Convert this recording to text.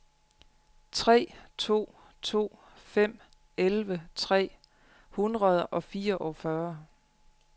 tre to to fem elleve tre hundrede og fireogfyrre